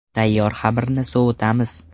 Tayyor xamirni sovitamiz.